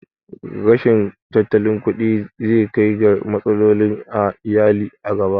Rashin tattalin kuɗi zai kai ga matsaloli a iyali a gaba